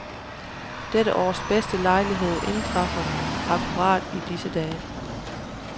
Dette års bedste lejlighed indtræffer akkurat i disse dage.